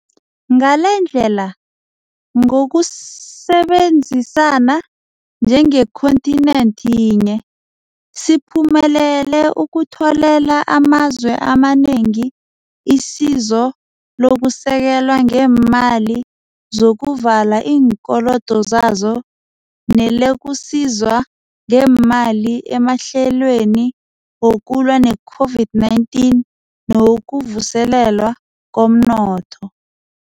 Ngalendlela, ngokusebenzi sana njengekhonthinenthi yinye, siphumelele ukutholela amazwe amanengi isizo lokusekelwa ngeemali zokuvala iinkolodo zazo nelokusizwa ngeemali emahlelweni wokulwa ne-COVID-19 newokuvuselelwa komnotho.